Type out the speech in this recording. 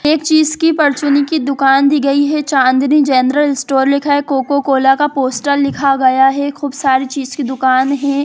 एक चीज़ की परचूने की दूकान दी गयी है चांदनी जनरल स्टोर लिखा है कोको कोला का पोस्टर लिखा गया है खूब सारी चीज़ की दूकान है।